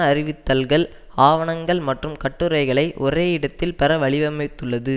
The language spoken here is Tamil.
அறிவித்தல்கள் ஆவணங்கள் மற்றும் கட்டுரைகளை ஒரே இடத்தில் பெற வழவமைத்துள்ளது